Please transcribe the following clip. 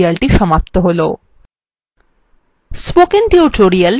এখানেই আমাদেরএই tutorial সমাপ্ত হলো